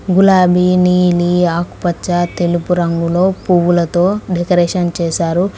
గులాబీ నీలి ఆకుపచ్చ తెలుపు రంగులో పువ్వులతో డెకరేషన్ చేశారు.